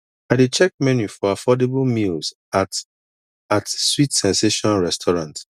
i dey check menu for affordable meals at at sweet sensation restaurant